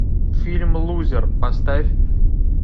фильм лузер поставь